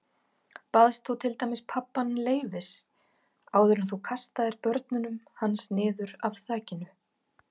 Baðst þú til dæmis pabbann leyfis áður en þú kastaðir börnunum hans niður af þakinu?